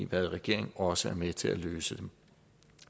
været i regering også er med til at løse det